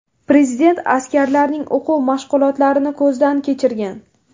Prezident askarlarning o‘quv-mashg‘ulotlarini ko‘zdan kechirgan.